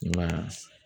I m'a ye